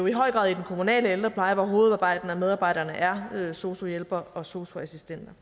i høj grad i den kommunale ældrepleje hvor hovedparten af medarbejderne er sosu hjælpere og sosu assistenter